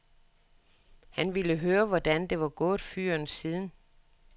Han ville høre, hvordan det var gået fyren siden.